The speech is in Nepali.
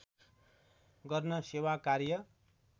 गर्न सेवाकार्य